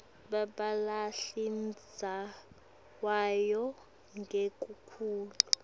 batewuhlala ndzawonye ngekuthula